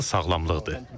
Əsas sağlamlıqdır.